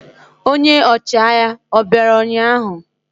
Ọnye ochịagha obịara ụnyahụ?